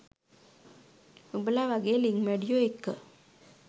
උබලා වගෙ ලිං මැඩියො එක්ක